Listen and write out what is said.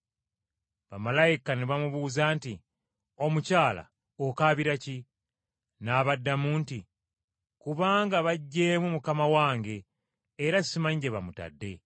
Bamalayika ne bamubuuza nti, “Omukyala, okaabira ki?” N’abaddamu nti, “Kubanga baggyeemu Mukama wange, era simanyi gye bamutadde!”